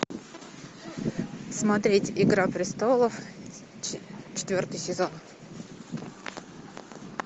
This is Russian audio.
смотреть игра престолов четвертый сезон